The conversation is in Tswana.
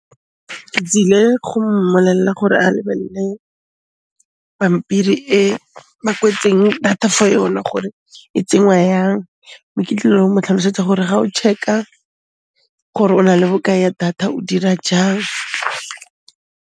Ke tsile go mmolella gore a lebelle pampiri e e kwetsweng data fo yona gore e tsengwa yang, mme ke tlile go mo tlhalosetsa gore ga o check-a gore o na le bokae ya data, o dira jang.